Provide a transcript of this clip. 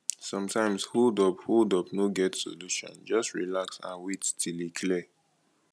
sometimes holdup holdup no get solution just relax and wait till e clear